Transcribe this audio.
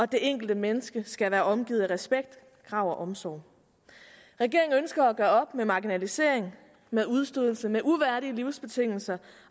det enkelte menneske skal være omgivet af respekt krav og omsorg regeringen ønsker at gøre op med marginalisering med udstødelse og med uværdige livsbetingelser